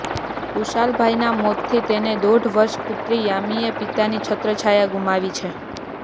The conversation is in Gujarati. કુશાલભાઇના મોતથી તેની દોઢ વર્ષ પુત્રી યામીએ પિતાની છત્રછાંયા ગુમાવી છે